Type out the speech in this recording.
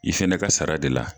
I fɛnɛ ka sara de la.